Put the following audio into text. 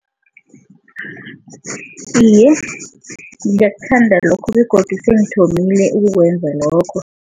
Iye, ngiyakuthanda lokho begodu sengithomile ukukwenza lokho.